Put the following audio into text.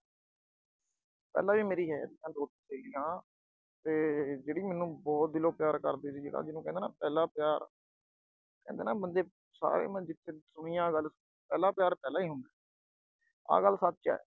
ਪਹਿਲਾ ਵੀ ਹੈ ਦੋ ਤਾਂ ਸੀਗੀਆਂ ਤੇ ਜਿਹੜੀ ਮੈਨੂੰ ਬਹੁਤ ਦਿਲੋਂ ਪਿਆਰ ਕਰਦੀ ਸੀ- ਜਿਹਨੂੰ ਕਹਿੰਦੇ ਹਾਂ ਨਾ ਪਹਿਲਾ ਪਿਆਰ। ਕਹਿੰਦੇ ਆ ਨਾ ਬੰਦੇ ਸਾਰੀ ਉਮਰ ਜਿਥੇ ਦੁਨੀਆਂ ਗੱਲ, ਪਹਿਲਾ ਪਿਆਰ ਪਹਿਲਾ ਹੀ ਹੁੰਦਾ, ਆਹ ਗੱਲ ਸੱਚ ਹੈ।